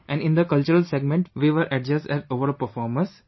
And in the cultural segment, we were adjudged as overall performers